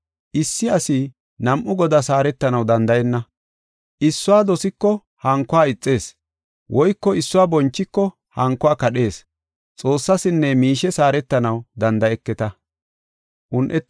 “Issi asi nam7u godaas haaretanaw danda7enna. Issuwa dosiko hankuwa ixees; woyko issuwa bonchiko hankuwa kadhees. Xoossasinne miishes haaretanaw danda7eketa.